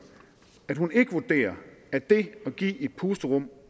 at hun ikke vurderer at det at give et pusterum